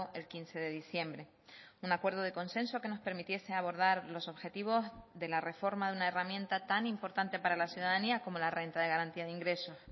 el quince de diciembre un acuerdo de consenso que nos permitiese abordar los objetivos de la reforma de una herramienta tan importante para la ciudadanía como la renta de garantía de ingresos